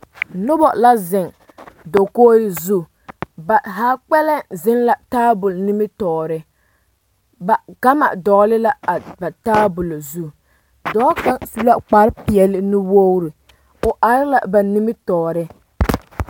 Noba la zeŋ dakogi zu ba zaa kpɛlɛŋ zeŋ la tabol nimitɔɔre ba gama dɔgle la a ba tabola zu dɔɔ kaŋ su la kparepeɛlle nuwogre o are la ba nimitɔɔreŋ.